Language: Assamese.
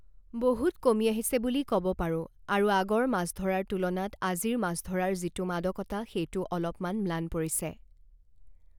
বহুত কমি আহিছে বুলি ক'ব পাৰোঁ, আৰু আগৰ মাছ ধৰাৰ তুলনাত আজিৰ মাছ ধৰাৰ যিটো মাদকতা সেইটো অলপমান ম্লান পৰিছে